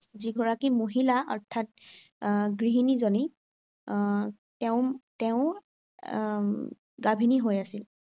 যি গৰাকী মহিলা অৰ্থাৎ এৰ গৃহিনীজনী আহ তেওঁ তেওঁও আহ গাভিনী হৈ আছিল।